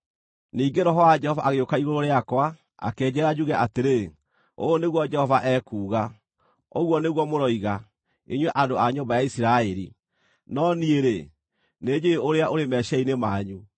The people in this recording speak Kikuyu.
Ningĩ Roho wa Jehova agĩũka igũrũ rĩakwa, akĩnjĩĩra njuge atĩrĩ, “Ũũ nĩguo Jehova ekuuga: Ũguo nĩguo mũroiga, inyuĩ andũ a nyũmba ya Isiraeli, no niĩ-rĩ, nĩnjũũĩ ũrĩa ũrĩ meciiria-inĩ manyu.